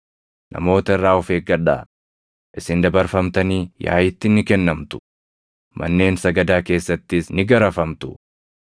Namoota irraa of eeggadhaa; isin dabarfamtanii yaaʼiitti ni kennamtu; manneen sagadaa keessattis ni garafamtu.